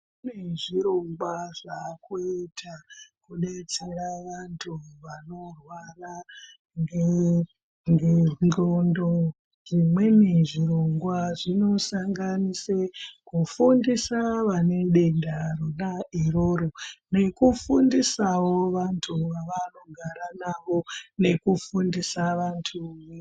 Kunezvirongwa zvaakuita kudetsera vantu vanorwara ngengxondo, zvimweni zvirongwa zvinosanganise kufundisa vanedenda rona iroro nekufundisawo vantu avanogara navo nekufundisa vantu.